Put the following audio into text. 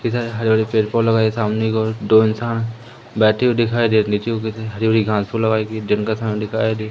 इधर हरे भरे पेड़ पौ लगाए गए सामने की ओर दो इंसान बैठे हुए दिखाई दे हरि भरी घास पूस लगाई गई जंगल सा --